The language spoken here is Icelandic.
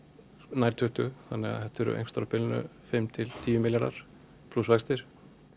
nær tuttugu þetta er einhvers á bilinu fimm til tíu milljarðar plús vextir